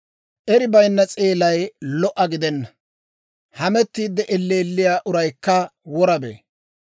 Eri bayinna seelay lo"a gidenna; hamettiidde elleelliyaa uraykka wora bee.